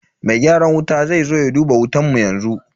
Mai gyaran wuta zai zo ya duba wutan mu yanzu.